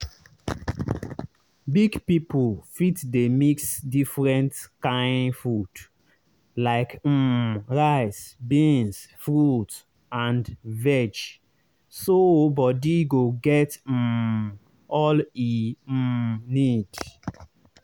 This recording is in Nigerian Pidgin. big people fit dey mix different kain food—like um rice beans fruit and veg—so body go get um all e um need.